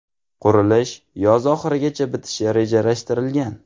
Qurilish yoz oxirigacha bitishi rejalashtirilgan.